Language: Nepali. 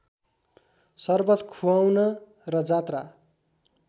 सर्वत खुवाउन र जात्रा